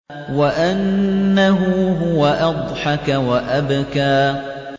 وَأَنَّهُ هُوَ أَضْحَكَ وَأَبْكَىٰ